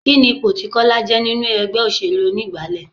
Kini ipò tí Kọ́lá je nínú ẹgbẹ́ òṣèlú onígbálé?